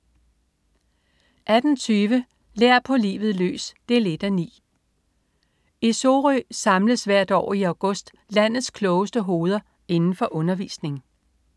18.20 Lær på livet løs 1:9. I Sorø samles hvert år i august landets klogeste hoveder inden for undervisning